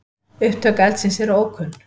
Upptök eldsins eru ókunn.